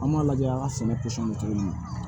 An b'a lajɛ an ka sɛnɛ bɛ cogo min na